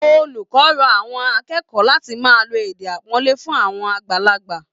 Olùkọ rọ àwọn akẹ́kẹ̀ẹ́ láti máa lo èdè àpọ́nlé fún àwọn àgbàlagbà